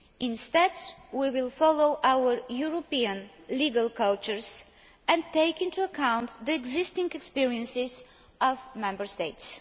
Instead, we will follow our European legal cultures and take into account the existing experiences of Member States.